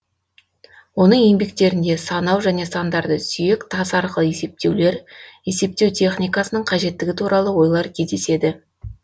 оның еңбектерінде санау және сандарды сүйек тас арқылы есептеулер есептеу техникасының қажеттігі туралы ойлар кездеседі